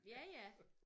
Ja ja